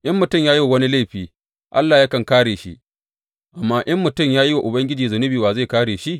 In mutum ya yi wa wani laifi Allah yakan kāre shi; amma in mutum ya yi wa Ubangiji zunubi wa zai kāre shi?